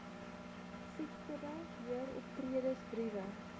siektebe heeroptredes briewe